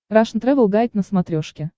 рашн тревел гайд на смотрешке